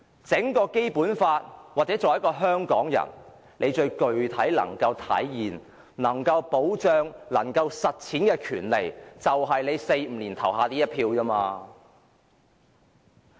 在《基本法》下，作為香港人最具體能體現、保障和實踐的權利，就是在每4或5年投下的一票。